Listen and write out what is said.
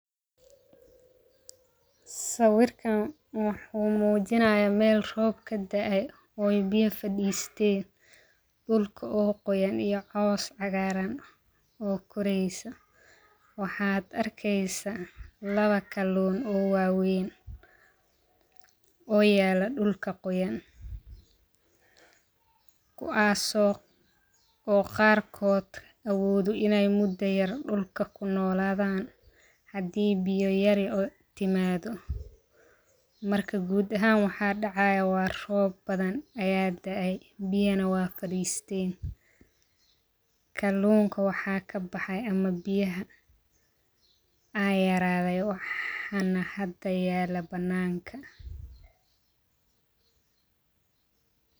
Sawirkan wuxuu mujinayaa meel roob kadaay, o biyaa fadisteen, dulka o qooyan iyo coos cagaran koreysaa, waxaa aad arkeysaa lawa kaluun o wawen o yala dulka qoyan, kuwaas o qarko awodan ine muda yar dulka ku noladhan, hadii biyo yari timaado, marka gud ahan waxaa dacayo waa roobadhan aya daay, biyana wey faristen, kalunka waxaa ka baxay ama biyaha a yarade waxan hada yalo bananka. o qoyan